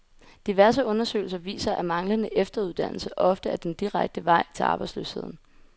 Diverse undersøgelser viser, at manglende efteruddannelse ofte er den direkte vej til arbejdsløsheden.